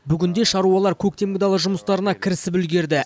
бүгінде шаруалар көктемгі дала жұмыстарына кірісіп үлгерді